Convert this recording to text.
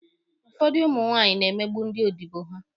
Ụfọdụ ụmụ nwaanyị na-emegbu ndị odibo ha